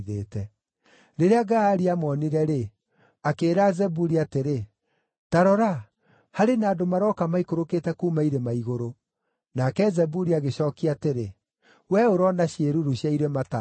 Rĩrĩa Gaali aamoonire-rĩ, akĩĩra Zebuli atĩrĩ, “Ta rora, harĩ na andũ maroka maikũrũkĩte kuuma irĩma igũrũ!” Nake Zebuli agĩcookia atĩrĩ, “Wee ũroona ciĩruru cia irĩma taarĩ andũ.”